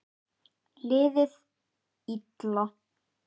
Liðið illa?